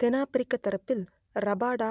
தென் Africa தரப்பில் Rabada